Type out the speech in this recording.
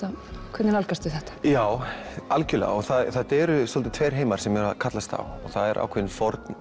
hvernig nálgastu þetta já algjörlega og þetta eru svolítið tveir heimar sem eru að kallast á það er ákveðinn